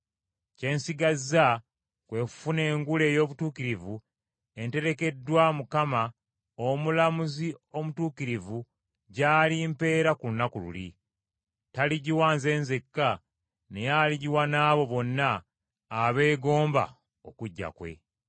Kye nsigazza kwe kufuna engule ey’obutuukirivu enterekeddwa, Mukama omulamuzi omutuukirivu gy’alimpeera ku lunaku luli. Taligiwa nze nzekka, naye aligiwa n’abo bonna abeegomba okujja kwe.